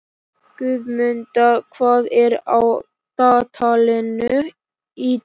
Guðmunda, hvað er á dagatalinu í dag?